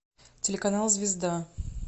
телеканал звезда